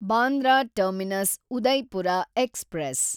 Bandra terminus Udaipur express